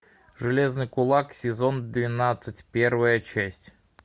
железный кулак сезон двенадцать первая часть